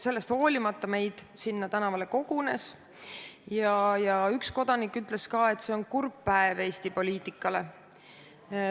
Sellest hoolimata meid sinna tänavale kogunes ja üks kodanik ütles, et see on kurb päev Eesti poliitikale.